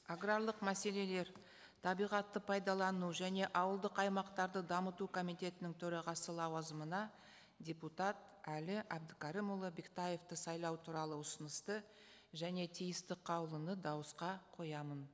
аграрлық мәселелер табиғатты пайдалану және ауылдық аймақтарды дамыту комитетінің төрағасы лауазымына депутат әли әбдікәрімұлы бектаевты сайлау туралы ұсынысты және тиісті қаулыны дауысқа қоямын